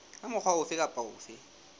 ka mokgwa ofe kapa ofe